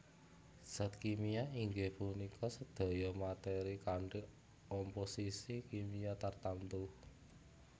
Zat kimia inggih punika sedaya meteri kanthi omposisi kimia tartamtu